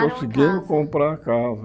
Compraram a casa Conseguimos comprar a casa.